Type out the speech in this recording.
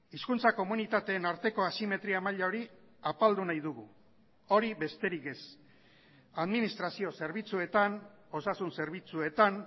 hizkuntza komunitateen arteko asimetria maila hori apaldu nahi dugu hori besterik ez administrazio zerbitzuetan osasun zerbitzuetan